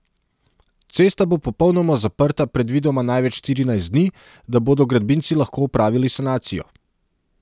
Cesta bo popolnoma zaprta predvidoma največ štirinajst dni, da bodo gradbinci lahko opravili sanacijo.